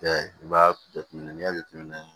i b'a jateminɛ n'i y'a jateminɛ